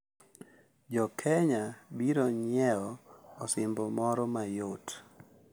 Jo Kenya biro nyiewo osimbo moro mayot